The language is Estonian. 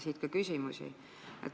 Siit ka küsimus.